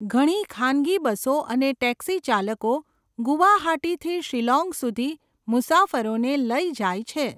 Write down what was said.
ઘણી ખાનગી બસો અને ટેક્સી ચાલકો ગુવાહાટીથી શિલોંગ સુધી મુસાફરોને લઈ જાય છે.